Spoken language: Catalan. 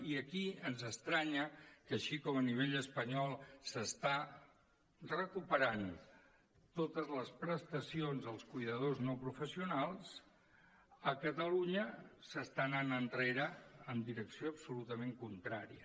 i aquí ens estranya que així com a nivell espanyol s’estan recuperant totes les prestacions als cuidadors no professionals a catalunya s’està anant enrere en direcció absolutament contrària